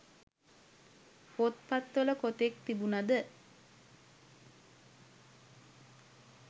පොත්පත්වල කොතෙක් තිබුණද